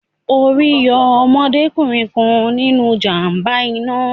Orí yọ ọmọdé kùnrin kan nínu ìjàm̀ba iná